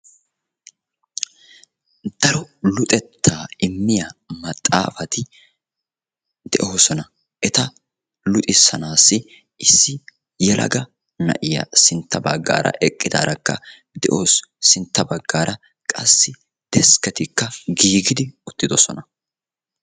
Daro luxettaa immiya maxaafati de'oosona. Eta luxissanaassi issi yelaga na'iya sintta baggaara eqqidaarakka de'awusu. Sintta baggaara qassi deskketikka giigidi uttidosona.